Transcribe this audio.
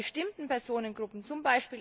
Bei bestimmten Personengruppen, z.